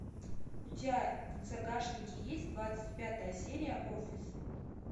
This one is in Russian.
у тебя в загашнике есть двадцать пятая серия офис